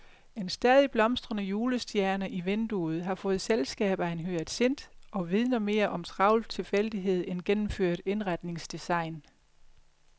En stadig blomstrende julestjerne i vinduet har fået selskab af en hyacint og vidner mere om travl tilfældighed end gennemført indretningsdesign.